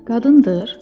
Qadındır?